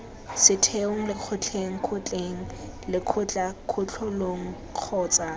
setheong lekgotleng kgotleng lekgotlakatlholong kgotsa